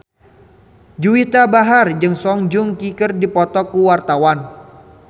Juwita Bahar jeung Song Joong Ki keur dipoto ku wartawan